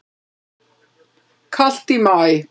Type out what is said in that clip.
Kalt í maí